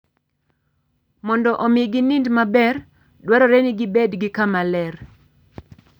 Mondo omi ginind maber, dwarore ni gibed gi kama ler.